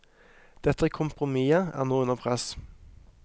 Dette kompromisset er nå under press.